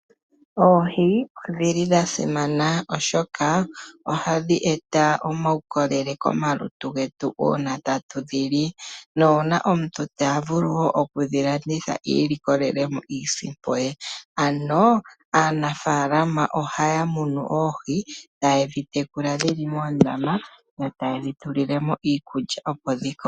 Oohi odhili dhasimana oshoka ohadhi eta omaukolele komalutu getu uuna tatu dhili, nuuna omuntu tavulu wo okudhilanditha iilikolelemo iisimpo ye, ano aanafaalama ohaya munu oohi , taye dhitekula dhili moondama, yo taye dhi tulilemo iikulya opo dhikoke.